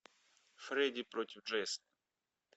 фредди против джейсона